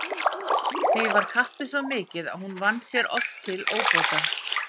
Því var kappið svo mikið að hún vann sér oft til óbóta.